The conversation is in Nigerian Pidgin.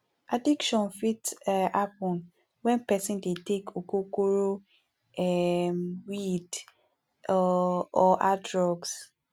addiction fit um happen when person dey take ogogoro um weed or or hard drugs